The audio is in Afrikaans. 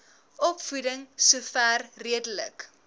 opvoeding sover redelik